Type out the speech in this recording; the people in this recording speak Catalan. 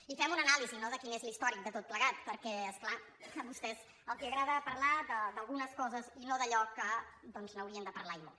i fem una anàlisi no de quin és l’històric de tot plegat perquè és clar a vostès els agrada parlar d’algunes coses i no d’allò de què haurien de parlar i molt